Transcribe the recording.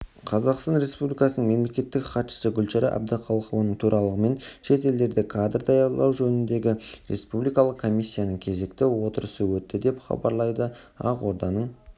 қазақстан республикасының мемлекеттік хатшысы гүлшара әбдіқалықованың төрағалығымен шет елдерде кадр даярлау жөніндегі республикалық комиссияның кезекті отырысы өтті деп хабарлайды ақороданың